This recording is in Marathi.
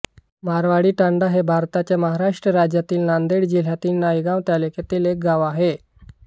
मारवाळीतांडा हे भारताच्या महाराष्ट्र राज्यातील नांदेड जिल्ह्यातील नायगाव तालुक्यातील एक गाव आहे